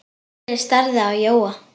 Lalli starði á Jóa.